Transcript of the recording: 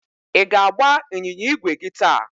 ị ga-agba ịnyịnya ígwè gị taa?